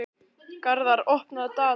Garðar, opnaðu dagatalið mitt.